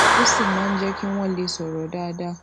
ó sì máa n jẹ kí wọn lè sòrò dáadáa